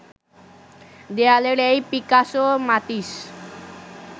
দেয়ালের এই পিকাসো মাতিস